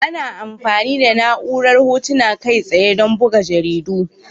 Ana amfani da na'urar Hotuna Kai tsaye don buga jaridu.